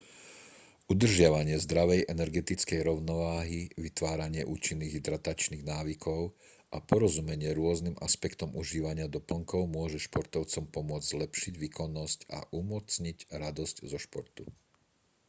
udržiavanie zdravej energetickej rovnováhy vytváranie účinných hydratačných návykov a porozumenie rôznym aspektom užívania doplnkov môže športovcom pomôcť zlepšiť výkonnosť a umocniť radosť zo športu